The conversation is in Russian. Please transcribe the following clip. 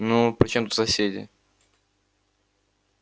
ну при чём тут соседи